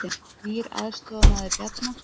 Nýr aðstoðarmaður Bjarna